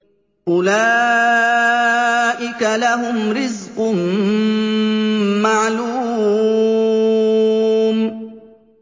أُولَٰئِكَ لَهُمْ رِزْقٌ مَّعْلُومٌ